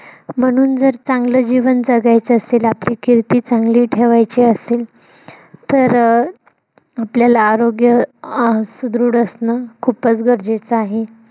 म्हणून जर, चांगलं जीवन जगायचं असेल आपली किर्ती चांगली ठेवायची असेल तर, आपल्याला आरोग्य सुदृढ असणं खूपच गरजेचं आहे.